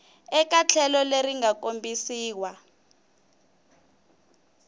eka tlhelo leri nga kombisiwa